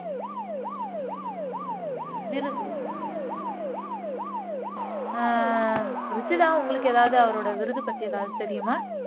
விருது ஹம் ருஷிதா உங்களுக்கு ஏதாவது அவரோட விருது பத்தி ஏதாவது தெரியுமா